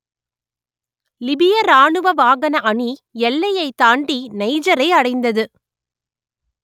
லிபிய ராணுவ வாகன அணி எல்லையைத் தாண்டி நைஜரை அடைந்தது